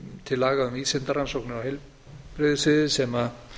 til laga um vísindarannsóknir á heilbrigðissviði sem